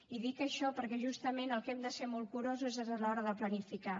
i dic això perquè justament el que hem de ser molt curosos és a l’hora de planificar